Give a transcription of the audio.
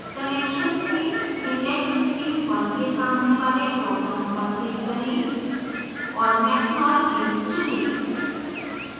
connections में inlet stream 1 के सामने वाले dropdown पर click करें